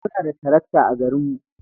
Muna da tarakta a garinmu.